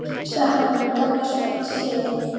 sagði hann, en gaf mér svo einn séns.